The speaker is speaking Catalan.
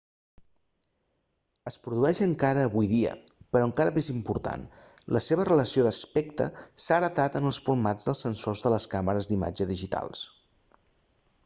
es produeix encara avui dia però encara més important la seva relació d'aspecte s'ha heretat en els formats dels sensors de les càmeres d'imatge digitals